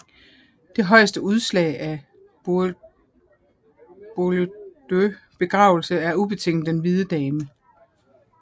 Det højeste udslag af Boïeldieus begavelse er ubetinget Den hvide Dame